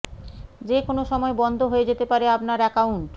যে কোনও সময় বন্ধ হয়ে যেতে পারে আপনার অ্যাকাউন্ট